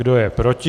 Kdo je proti?